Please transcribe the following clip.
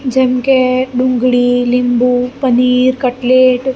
જેમ કે ડુંગળી લીંબુ પનીર કટલેટ--